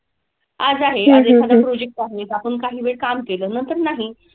आज आहे आज एखादा project आहे तर आपण काही वेळ काम केलं, नंतर नाही.